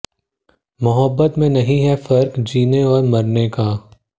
मोहब्बत में नहीं है फ़र्क़ जीने और मरने का